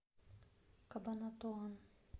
кабанатуан